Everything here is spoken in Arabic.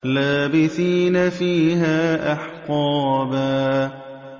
لَّابِثِينَ فِيهَا أَحْقَابًا